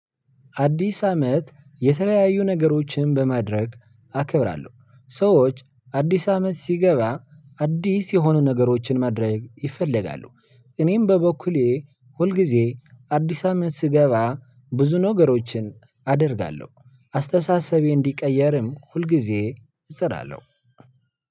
አዲስ አመት የተለያዩ ነገሮችን በማድረግ አከብራለሁ ሰዎች አዲስ አመት ሲገባ አዲስ የሆኑ ነገሮችን ማድረግ ይፈለጋሉ። እኔም በበኩሌን ሁሉ ግዜ አዲስ አመት ሲገባ ብዙ ነገሮችን አደርጋለው። አስተሳሰቤን እንዲቀየር ሁል ግዜ እጥራለው።